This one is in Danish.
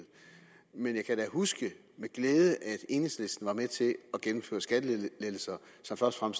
men jeg kan da huske med glæde at enhedslisten var med til at gennemføre skattelettelser som først og